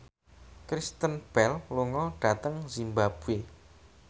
Kristen Bell lunga dhateng zimbabwe